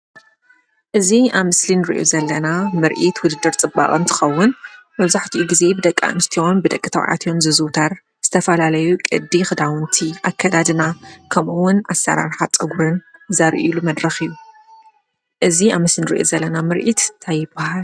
እዚ ኣብ ምስሊ ንሪኦ ዘለና ምርኢት ውድድር ፅባቀ እንትከውን መብዛሓትኡ ግዜ ብደቂ ኣንስትዮ ብደቂ ተበዕትዮን ዝዝውተር ዝተፈላለዩ ቅዲ ክዳውንቲ ኣካደድና ከምኡ እውን ኣሰራራሓ ፀጉርን ዘርእይሉ መድረክ እዩ። እዚ ኣብ ምስሊ ንሪኦ ዘለና ምርኢት እንታይ ይበሃል።